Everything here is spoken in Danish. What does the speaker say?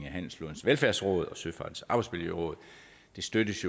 af handelsflådens velfærdsråd og søfartens arbejdsmiljøråd støttes